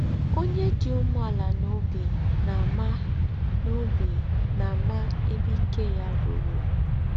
Ònyè dí úmèàlà n’óbí nà-àmà n’óbí nà-àmà èbè íké yá rùrú.